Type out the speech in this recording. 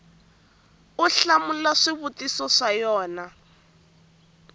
u hlamula swivutiso swa yona